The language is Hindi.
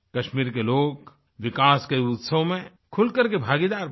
कश्मीर के लोग विकास के इस उत्सव में खुलकर के भागीदार बने